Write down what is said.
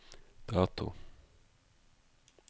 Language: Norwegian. dato